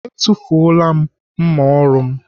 Atụfuola mma ọrụ m.